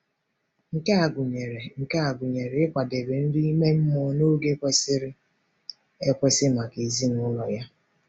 Nke a gụnyere Nke a gụnyere ịkwadebe nri ime mmụọ n’oge kwesịrị ekwesị maka ezinụlọ ya.